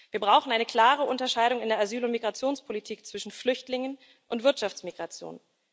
Wir brauchen eine klare Unterscheidung in der Asyl und Migrationspolitik zwischen Flüchtlingen und Wirtschaftsmigration.